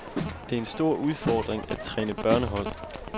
Det er en stor udfordring at træne børnehold.